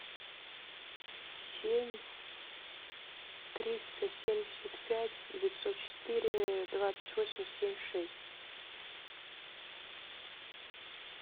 семь триста семьдесят пять девятьсот четыре двадцать восемь семь шесть